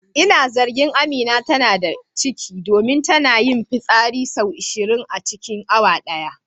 Ina zargin Amina tana da ciki domin tana fi yin fitsari sau ashirin a cikin awa daya.